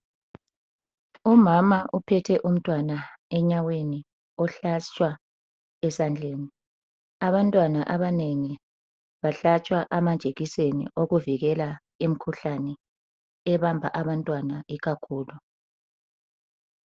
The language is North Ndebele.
Umama uphethe umntwana enyaweni ohlatshwa esandleni. Abantwana abanengi bahlatshwa amajekiseni okuvikela imikhuhlane ebamba abantwana ikakhulu.